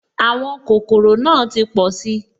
Àwọn kòkòrò náà ti pọ̀si